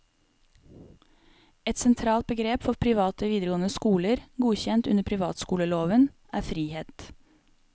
Et sentralt begrep for private videregående skoler, godkjent under privatskoleloven, er frihet.